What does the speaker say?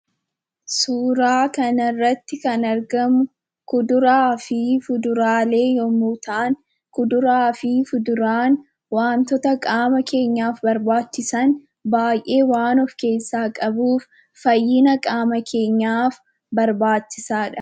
Suuraa kanarratti kan argamu kuduraa fi fuduraalee yemmuu ta'an, kuduraa fi fuduraan wantoota qaama keenyaaf barbaachisan baay'ee waan of keessaa qabuuf, fayyina qaama keenyaaf barbaachisaadha.